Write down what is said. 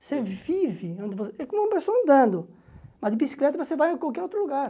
Você vive, é como uma pessoa andando, mas de bicicleta você vai a qualquer outro lugar.